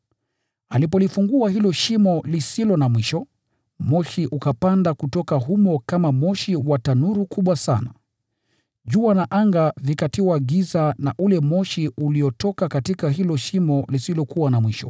Alipolifungua hilo Shimo, moshi ukapanda kutoka humo kama moshi wa tanuru kubwa sana. Jua na anga vikatiwa giza na ule moshi uliotoka katika hilo Shimo.